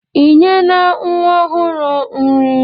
Ị nyena nwa ọhụrụ nri?